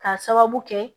K'a sababu kɛ